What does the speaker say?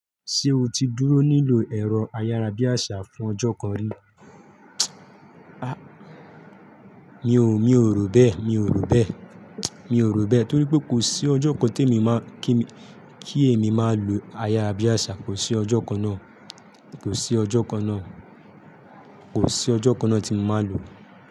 Ṣé o ti dúró lílò ẹ̀rọ ayára bí àṣá fún ọjọ́ kan rí? A! Mi ò, mi ò rò bẹ́ẹ̀, mi ò rò bẹ́ẹ̀, mi ò rò bẹ́ẹ̀ torí pé kò sí ọjọ́ kan tí èmi máa kí èmi máa lo ayarabíàṣá, kò sí ọjọ́ kan náà, kò sí ọjọ́ kan náà, kò sí ọjọ́ kan náà tí mo máa lò ó.